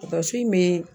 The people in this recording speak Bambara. Tasi in m